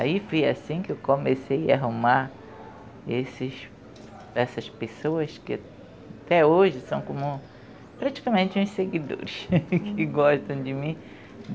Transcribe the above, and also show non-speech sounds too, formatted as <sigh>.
Aí fui assim que eu comecei a arrumar esses essas pessoas que até hoje são como praticamente uns seguidores <laughs> que gostam de mim.